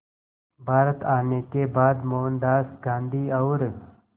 भारत आने के बाद मोहनदास गांधी और